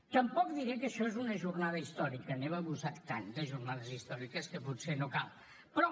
tampoc diré que això és una jornada històrica n’hem abusat tant de jornades històriques que potser no cal però